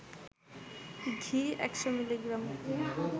ঘি ১০০ মিলি গ্রাম